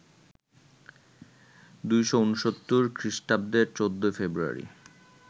২৬৯ খৃষ্টাব্দের ১৪ ফেব্রুয়ারি